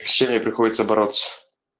с чем ей приходится бороться